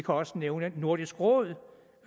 også nævne nordisk råd